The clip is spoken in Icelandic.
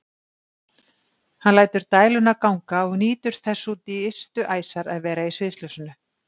Hann lætur dæluna ganga og nýtur þess út í ystu æsar að vera í sviðsljósinu.